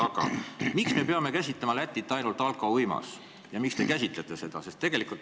Aga miks me peame käsitlema Lätit ainult alkouimale mõeldes ja miks te seda vaid nii käsitlete?